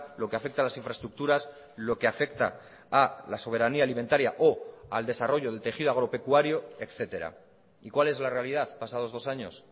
lo que afecta a las infraestructuras lo que afecta a la soberanía alimentaria o al desarrollo del tejido agropecuario etcétera y cuál es la realidad pasados dos años